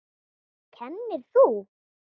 Kennir þú?